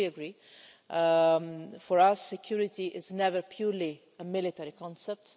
I fully agree, for our security is never purely a military concept.